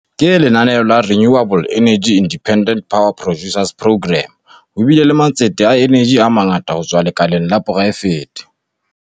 Ka lenaneo la Renewable Energy Independent Power Producers Programme, ho bile le matsete a eneji a mangata ho tswa lekaleng la poraefete.